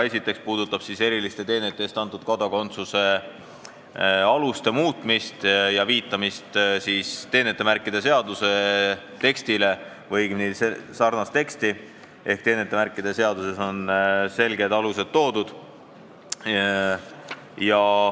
Esimene puudutab eriliste teenete eest antud kodakondsuse aluste muutmist ja viitamist teenetemärkide seaduse sarnasele tekstile, sest teenetemärkide seaduses on selged alused toodud.